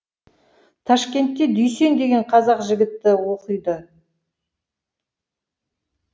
ташкентте дүйсен деген қазақ жігіті оқиды